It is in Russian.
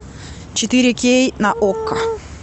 четыре кей на окко